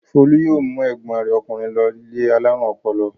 Folú yóò mú ẹ̀gbọ́n rẹ̀ ọkùnrin lọ ilé alárùn ọpọlọ.